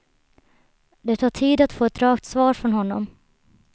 Det tar tid att få ett rakt svar från honom.